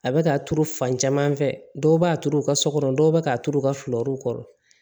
A bɛ k'a turu fan caman fɛ dɔw b'a turu u ka so kɔnɔ dɔw bɛ k'a turu u ka fulurew kɔrɔ